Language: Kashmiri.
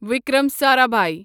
وکرم سارابھایی